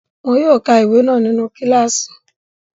Wọn yóò ka ìwé náà nínu kílààsì